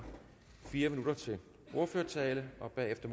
fire minutter til ordførertale og bagefter